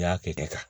I y'a kɛ de ka